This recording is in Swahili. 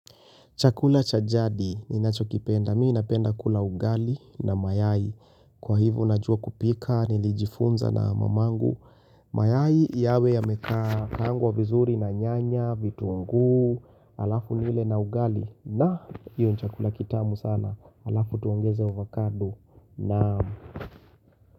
Chakula cha jadi ninacho kipenda. Mi ninapenda kula ugali na mayai. Kwa hivyo najua kupika, nilijifunza na mamangu. Mayai yawe yameka kaangwa vizuri na nyanya, vitunguu halafu nile na ugali. Na hiyo ni chakula kitamu sana. Halafu tuongeze ovacado na.